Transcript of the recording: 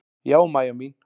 Já, Mæja mín.